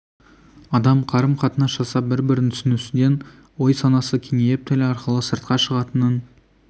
адам қарым-қатынас жасап бір-бірін түсінісуден ой-санасы кеңейіп тіл арқылы сыртқа шығатынын